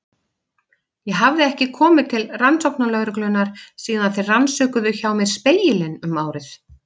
Ég hafði ekki komið til rannsóknarlögreglunnar síðan þeir rannsökuðu hjá mér Spegilinn um árið.